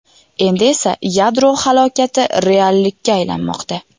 Endi esa yadro halokati reallikka aylanmoqda.